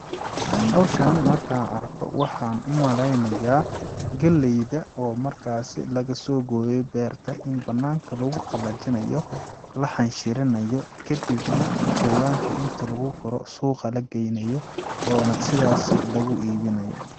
Hawshani markaan arko waxaan u maleynayaa galleyda oo markaasi lagasoo gooyay beerta in banaanka lagu qallajinayo ,la xanshirinayo, kadibna jawaanka inti lagu guro suuqa la geynayo oona sidaasi lagu iibinayo .